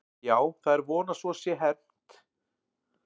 Já, það er von að svo sé hermt að þetta sé alvarlegt íhugunarefni.